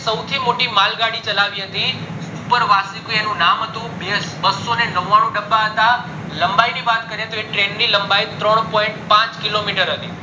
સૌથી મોટી માળ ગાડી ચલાવી હતી એનું નામ હતું બસ્સો ને નવ્વાણું ડબ્બા હતા લંબાઈ ની વાત કરીએ તો એ train ની લંબાઈ ત્રણ point પાંચ kilometer હતી